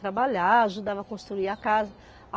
Trabalhar, ajudava a construir a casa.